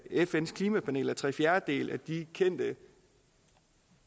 fns klimapanel at tre fjerdedele af de kendte